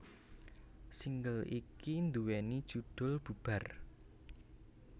Single iki nduwèni judhul Bubar